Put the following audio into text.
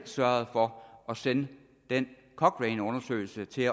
sørget for at sende den cochraneundersøgelse til